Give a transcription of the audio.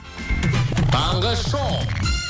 таңғы шоу